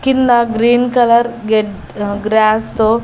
కింద green colour గెడ్ grass తో.